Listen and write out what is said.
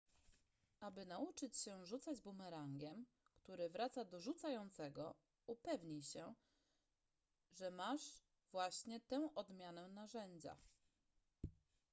aby nauczyć się rzucać bumerangiem który wraca do rzucającego upewnij się że masz właśnie tę odmianę narzędzia